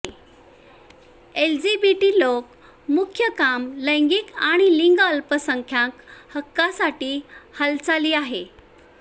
LGBT लोक मुख्य काम लैंगिक आणि लिंग अल्पसंख्याक हक्कांसाठी हालचाली आहे